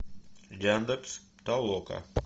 яндекс толока